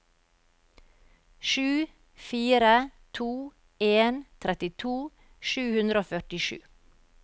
sju fire to en trettito sju hundre og førtisju